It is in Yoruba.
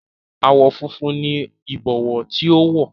Àwọ̀ funfun ni Ìbọwọ́ tí ó wọ̀